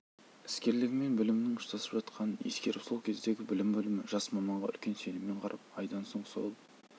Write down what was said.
іскерлігі мен білімінің ұштасып жатқанын ескеріп сол кездегі білім бөлімі жас маманға үлкен сеніммен қарап айдан соң сол